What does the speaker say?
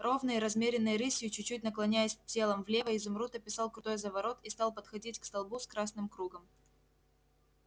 ровной размеренной рысью чуть-чуть наклоняясь телом влево изумруд описал крутой заворот и стал подходить к столбу с красным кругом